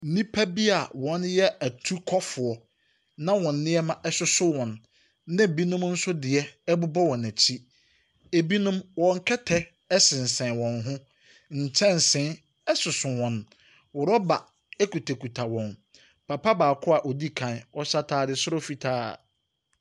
Nnipa bi a wɔyɛ atukɔfoɔ, na wɔn nneɛma soso wɔn, na binom nso deɛ bobɔ wɔn akyi. Ebinom, wɔn kɛtɛ sensɛn wɔn ho. Nkyɛnse soso wɔn. Rɔba kutakuta wɔn. Papa baako a ɔdi ka, ɔhyɛ atade soro fitaa.